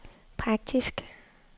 praktisk